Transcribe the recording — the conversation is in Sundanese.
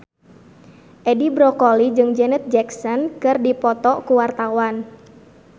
Edi Brokoli jeung Janet Jackson keur dipoto ku wartawan